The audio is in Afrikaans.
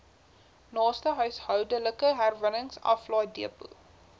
naaste huishoudelike herwinningsaflaaidepot